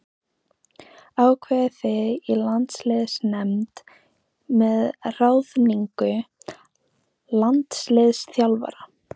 Ákveðið þið í landsliðsnefnd með ráðningu landsliðsþjálfara?